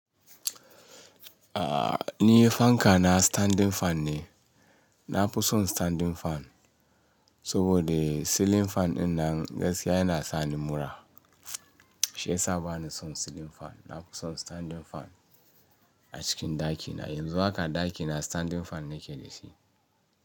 Aa, ni fanka na standing fan ne. Na fi son standing fan saboda ceiling fan ɗinnan gaskiya yana sani mura. Shiyasa bani son ceiling fan. Na fi son standing fan a cikin ɗakina. Yanzu haka ɗakina standing fan nake da shi.